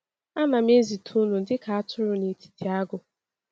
“Anam ezite unu dị ka atụrụ n’etiti agụ.”